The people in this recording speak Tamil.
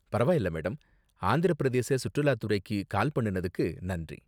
பரவாயில்ல மேடம், ஆந்திர பிரதேச சுற்றுலாத்துறைக்கு கால் பண்ணுனதுக்கு நன்றி.